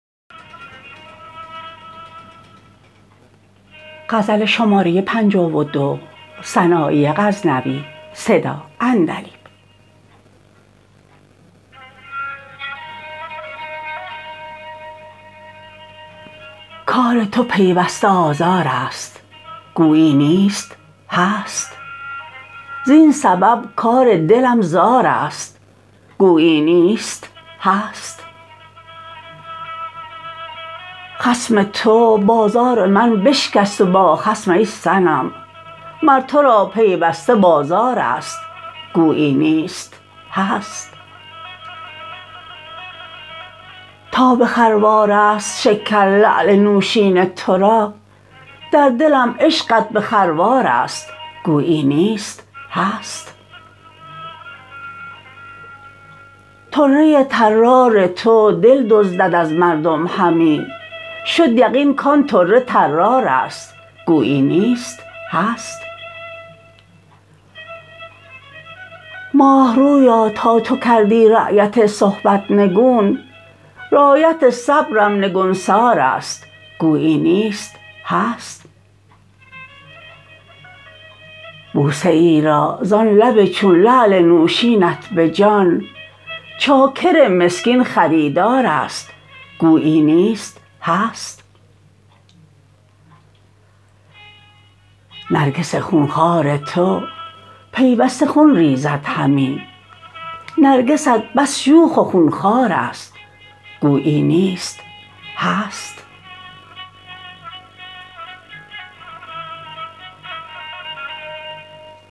کار تو پیوسته آزارست گویی نیست هست زین سبب کار دلم زارست گویی نیست هست خصم تو بازار من بشکست و با خصم ای صنم مر ترا پیوسته بازارست گویی نیست هست تا به خروارست شکر لعل نوشین ترا در دلم عشقت به خروارست گویی نیست هست طره طرار تو دل دزدد از مردم همی شد یقین کان طره طرارست گویی نیست هست ماهرویا تا تو کردی رایت صحبت نگون رایت صبرم نگونسارست گویی نیست هست بوسه ای را زان لب چون لعل نوشینت به جان چاکر مسکین خریدارست گویی نیست هست نرگس خونخوار تو پیوسته خون ریزد همی نرگست بس شوخ و خونخوارست گویی نیست هست